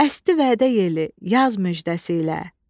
Əsdi vədə yeli, yaz müjdəsi ilə.